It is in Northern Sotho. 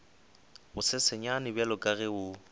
bosesenyane bjalo ka ge o